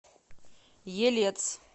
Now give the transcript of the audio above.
елец